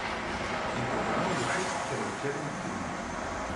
Na programu bo šest celovečernih filmov.